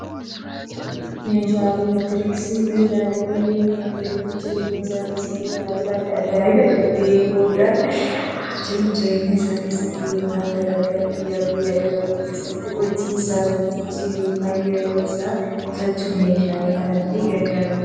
Meeshaaleen elektirooniksii meeshaalee dhalli namaa jiruuf jireenya isaa keessatti, tajaajila adda addaa itti bahuudha. Dhalli namaa jiruuf jireenya isaa keessatti yookiin dalagaa guyyaa guyyaan dalagu keessatti, hojii isaa salphissuuf yookiin yeroo isaa qusachuuf meeshaalee kanatti gargaarama.